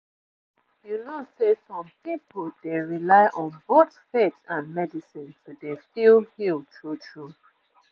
you know say some pipu dey rely on both faith and medicine to dey feel healed true true